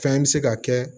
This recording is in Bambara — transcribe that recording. Fɛn bɛ se ka kɛ